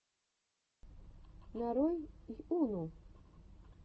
нарой йуну